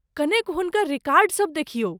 कनेक हुनकर रिकार्डसब देखियौ।